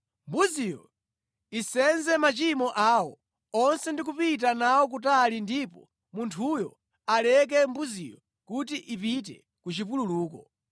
Mbuziyo isenze machimo awo onse ndi kupita nawo kutali ndipo munthuyo aleke mbuziyo kuti ipite ku chipululuko.